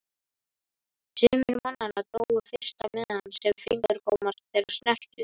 Sumir mannanna drógu fyrsta miðann sem fingurgómar þeirra snertu.